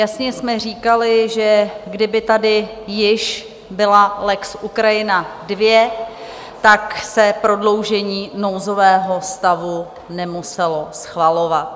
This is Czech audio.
Jasně jsme říkali, že kdyby tady již byla lex Ukrajina II, tak se prodloužení nouzového stavu nemuselo schvalovat.